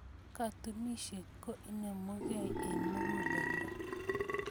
Katunisyet ko inemugei eng muguleldo.